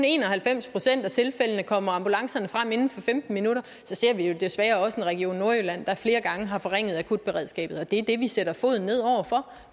en og halvfems procent af tilfældene kommer ambulancerne frem inden for femten minutter så ser vi jo desværre også en region nordjylland der flere gange har forringet akutberedskabet og det er det vi sætter foden ned over